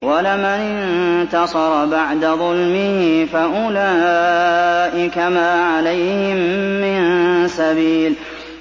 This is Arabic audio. وَلَمَنِ انتَصَرَ بَعْدَ ظُلْمِهِ فَأُولَٰئِكَ مَا عَلَيْهِم مِّن سَبِيلٍ